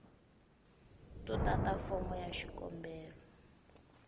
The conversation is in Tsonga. no tata fomo ya xikombelo